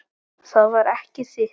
Það var ekki þitt.